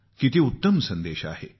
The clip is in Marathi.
किती उत्तम संदेश आहे